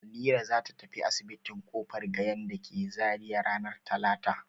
Halira za ta tafi asibitin Kofar Gayan da ke Zariya ranar talata.